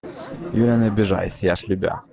я не обижаюсь я ж любя